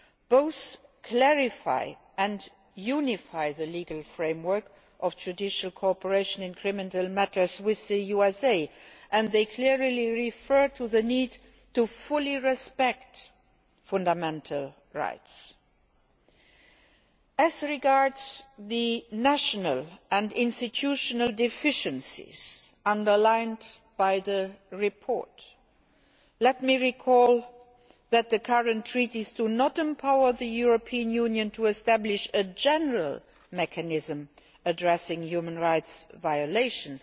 Both clarify and unify the legal framework of judicial cooperation in criminal matters with the USA, and they clearly refer to the need to fully respect fundamental rights. As regards the national and institutional deficiencies underlined by the report, let me recall that the current treaties do not empower the European Union to establish a general mechanism addressing human rights violations.